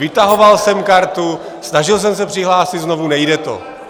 Vytahoval jsem kartu, snažil jsem se přihlásit znovu, nejde to.